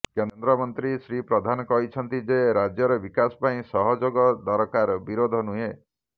କେନ୍ଦ୍ରମନ୍ତ୍ରୀ ଶ୍ରୀ ପ୍ରଧାନ କହିଛନ୍ତି ଯେ ରାଜ୍ୟର ବିକାଶ ପାଇଁ ସହଯୋଗ ଦରକାର ବିରୋଧ ନୁହେଁ